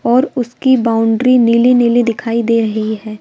और उसकी बाउंड्री नीली नीली दिखाई दे रही है।